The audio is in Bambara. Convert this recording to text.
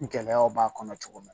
Gɛlɛyaw b'a kɔnɔ cogo min